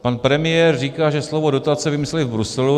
Pan premiér říká, že slovo dotace vymysleli v Bruselu.